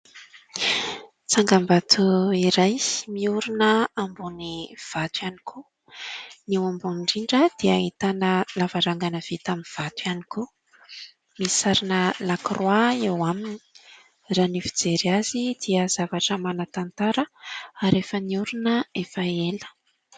Tsangambato iray miorina ambony vato ihany koa ; ny eo ambony indrindra dia ahitana lavarangana vita amin'ny vato ihany koa ; misy sarina lakroa eo aminy. Raha ny fijery azy dia zavatra manan-tantara ary efa niorina efa ela.